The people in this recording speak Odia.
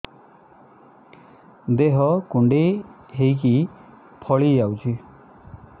ଦେହ କୁଣ୍ଡେଇ ହେଇକି ଫଳି ଯାଉଛି